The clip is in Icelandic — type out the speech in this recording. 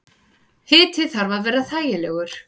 Hiti þarf að vera þægilegur.